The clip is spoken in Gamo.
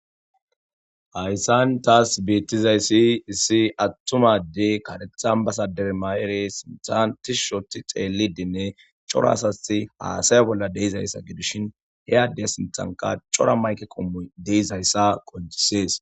Hayssan taas beettizayssi issi attumadey kadethan basadere mayere sintantis shoti xeelidinne coraasati haasaya bolla deizayssa gidushin he adde sintanka cora mayke qommu deizayssa qonjisees.